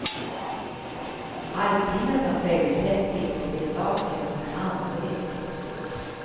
Halvtimmen som följde fick de se saker som de aldrig sett förut.